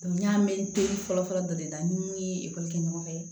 n y'a mɛn teri fɔlɔ fɔlɔ dɔ de la ni mun ye ekɔli kɛ ɲɔgɔn fɛ